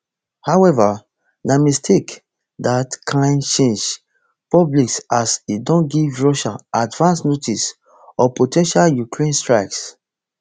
however na mistake dat kain change public as e don give russia advance notice of po ten tial ukraine strikes